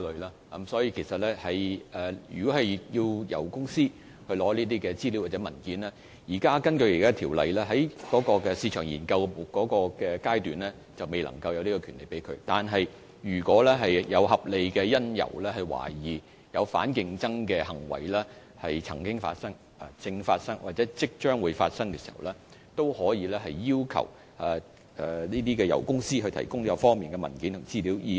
根據現行法例，雖然競委員在進行市場研究階段，並沒有權向油公司索取有關資料和文件，但如果有合理理由懷疑反競爭行為曾經發生、正在發生或即將發生，競委會可要求油公司提供有關文件和資料。